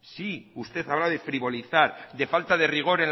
sí usted habla de frivolizar de falta de rigor